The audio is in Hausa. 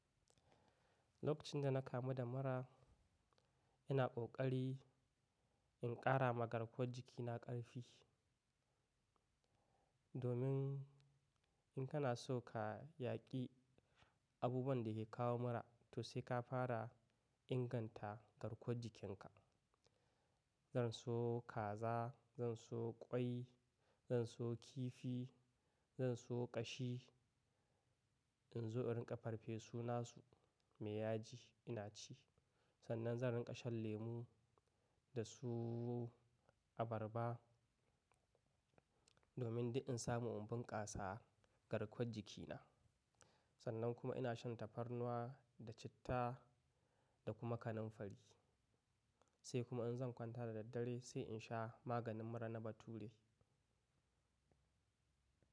Lokacin da na kamu da mura, ina ƙoƙari, in ƙarama garkuwan jikina ƙarfi. Domin in kana so ka yaƙi abubuwan da ke kawo mura, to sai ka fara inganta garkuwar jikinka. Zan suyo kaza, zan suyo ƙwai, zan suyo kifi, zan suyo ƙashi. In zo in rinƙa farfe su nasu mai yaji ina ci. Sannan zan rinƙa shan lemu da su abarba domin duk in samu in bunƙasa garkuwar jikina. Sannan kuma ina shan tafarnuwa, da citta da kuma kananfari. Sai kuma in zan kwanta da daddare sai in sha maganin mura na bature.